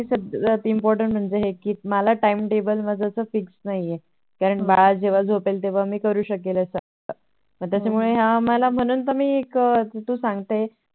सगळ्यात Important म्हणजे Time table fix माझं नाही आहे. बाळ जेव्हा झोपेत तेव्हा मी करू शकेल असं मग त्याच्यामुळेह्या मला म्हणून तू हे या सांगते